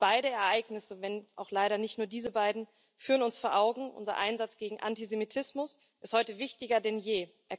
Beide Ereignisse, wenn auch leider nicht nur diese beiden, führen uns vor Augen Unser Einsatz gegen Antisemitismus ist heute wichtiger denn je.